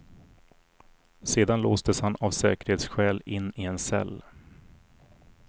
Sedan låstes han av säkerhetsskäl in i en cell.